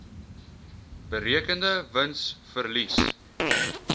berekende wins verlies